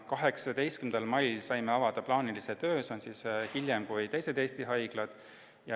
18. mail saime avada plaanilise töö, see toimus hiljem kui teistes Eesti haiglates.